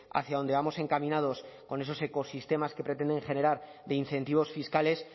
hacia donde vamos encaminados con esos ecosistemas que pretenden generar de incentivos fiscales